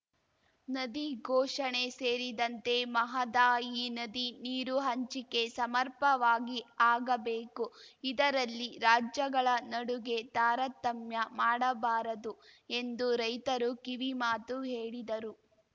ನದಿ ಘೋಷಣೆ ಸೇರಿದಂತೆ ಮಹದಾಯಿ ನದಿ ನೀರು ಹಂಚಿಕೆ ಸಮರ್ಪವಾಗಿ ಆಗಬೇಕು ಇದರಲ್ಲಿ ರಾಜ್ಯಗಳ ನಡುಗೆ ತಾರತಮ್ಯ ಮಾಡಬಾರದು ಎಂದು ರೈತರು ಕಿವಿ ಮಾತು ಹೇಳಿದರು